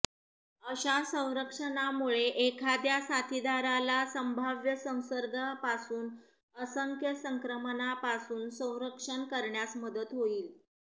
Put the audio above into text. अशा संरक्षणामुळे एखाद्या साथीदाराला संभाव्य संसर्गापासून असंख्य संक्रमणापासून संरक्षण करण्यास मदत होईल